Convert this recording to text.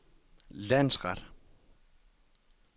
landsret